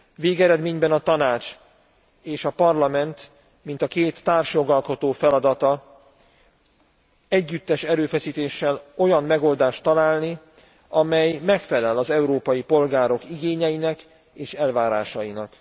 Végeredményben a Tanács és a Parlament, mint a két társjogalkotó feladata együttes erőfeszítéssel olyan megoldást találni, amely megfelel az európai polgárok igényeinek és elvárásainak.